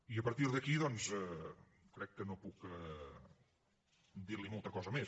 i a partir d’aquí doncs crec que no puc dir li molta cosa més